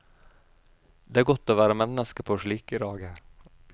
Det er godt å være menneske på slike dager.